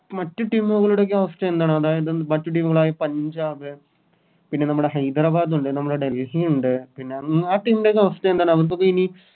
മറ്റു Team കളുടെയോക്കെ അവസ്ഥ എന്താണ് അതായത് മറ്റു Team കളായ പഞ്ചാബ് പിന്നെ നമ്മുടെ ഹൈദരാബാദുണ്ട് നമ്മുടെ ഡല്‍ഹിയുണ്ട് പിന്നെ ആഹ് Team കളെയൊന്ന് അവസ്ഥ എന്താണ് അവർക്കൊക്കെ എനി